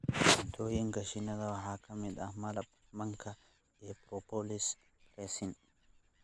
Cuntooyinka shinnida waxaa ka mid ah malab, manka, iyo propolis (resin).